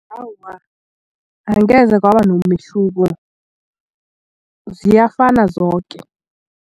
Awa, angeze kwaba nomehluko ziyafana zoke.